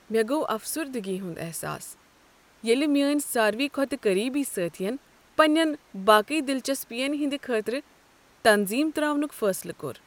مےٚ گوٚو افسردگی ہنٛد احساس ییٚلہ میٛٲنۍ سارۍوٕے کھۄتہٕ قریبی سٲتھی ین پنٛنٮ۪ن باقٕے دلچسپین ہٕنٛد خٲطرٕ تنظیم ترٛاونک فٲصلہٕ کوٚر۔